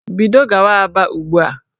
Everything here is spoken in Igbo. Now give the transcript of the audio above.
Bido gawa Aba ugbu a!